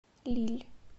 лилль